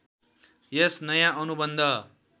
यस नयाँ अनुबन्ध